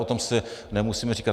O tom si nemusíme říkat.